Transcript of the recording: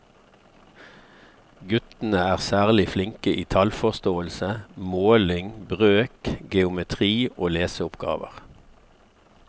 Guttene er særlig flinke i tallforståelse, måling, brøk, geometri og leseoppgaver.